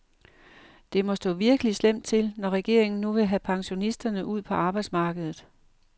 Det må stå virkelig slemt til, når regeringen nu vil have pensionisterne ud på arbejdsmarkedet.